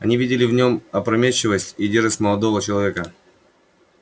они видели в нем опрометчивость и дерзость молодого человека